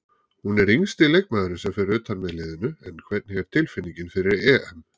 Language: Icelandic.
Hún er yngsti leikmaðurinn sem fer utan með liðinu en hvernig er tilfinningin fyrir EM?